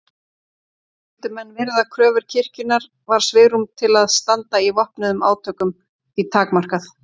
Vildu menn virða kröfur kirkjunnar var svigrúm til að standa í vopnuðum átökum því takmarkað.